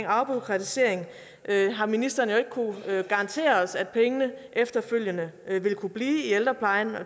afbureaukratisering har ministeren jo ikke kunnet garantere os at pengene efterfølgende vil kunne blive i ældreplejen og